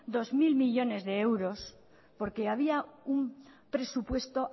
dos mil millónes de euros porque había un presupuesto